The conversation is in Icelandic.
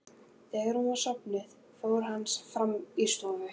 Þegar hún var sofnuð fór hann fram í stofu.